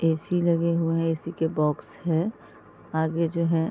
ऎसी लगे हुए हैं। एसी के बॉक्स है आगे जो है --